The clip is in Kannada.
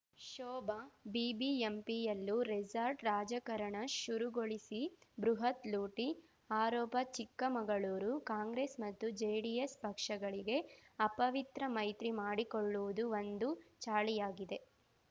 ಶೋಭಾ ಬಿಬಿಎಂಪಿಯಲ್ಲೂ ರೆಸಾರ್ಟ್‌ ರಾಜಕಾರಣ ಶುರುಗೊಳಿಸಿ ಬೃಹತ್‌ ಲೂಟಿ ಆರೋಪ ಚಿಕ್ಕಮಗಳೂರು ಕಾಂಗ್ರೆಸ್‌ ಮತ್ತು ಜೆಡಿಎಸ್‌ ಪಕ್ಷಗಳಿಗೆ ಅಪವಿತ್ರ ಮೈತ್ರಿ ಮಾಡಿಕೊಳ್ಳುವುದು ಒಂದು ಚಾಳಿಯಾಗಿದೆ